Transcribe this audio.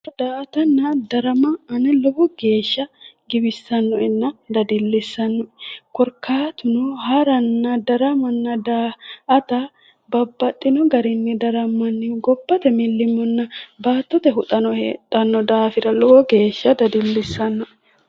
Daa'atanna draama ane lowo geeshsha giwissannoenna dadillissannoe korkaatuno haranna daa"ata babbaxino garinni darammannihu gobbate millimillo baattote huxano heedhanno daafira lowo geeshsha dadillissannoe.